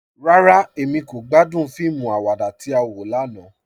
Rárá, Emí kò gbàdún fíìmù àwàdà tí á wọ lànà.